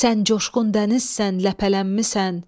Sən coşqun dənizsən, ləpələnmisən.